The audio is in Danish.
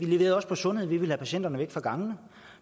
leveret på sundhed vi ville have patienterne væk fra gangene